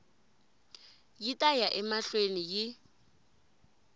yi ta ya emahlweni yi